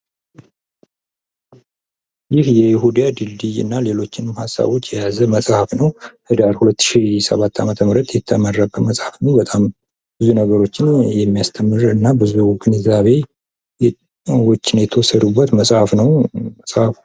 ይህ የይሁዳ ድልድይ እና ሌሎችንም ሃሳቦች የያዘ መጽሃፍ ነው። ህዳር 2007 የተመረቀ መጽሃፍ ነው። በጣም ብዙ ነገሮች የሚያስተምር እና ብዙ ግንዛቤዎች የተወሰዱበት መጽሃፍ ነው መጽሃፉ።